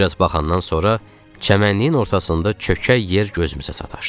Bir az baxandan sonra çəmənliyin ortasında çökək yer gözümüzə sataşdı.